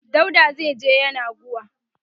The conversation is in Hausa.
dauda zaije yenagoa